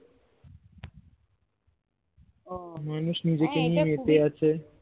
ও হ্যাঁ এটা খুবই